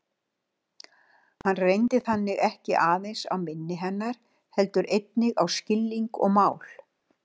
Hann reyndi þannig ekki aðeins á minni hennar heldur einnig á skilning og mál.